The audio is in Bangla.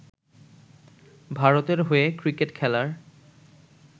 ভারতের হয়ে ক্রিকেট খেলার